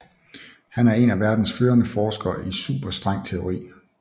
Han er en af verdens førende forskere i superstrengteori